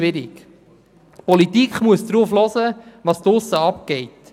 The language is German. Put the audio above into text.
Die Politik muss darauf hören, was draussen passiert.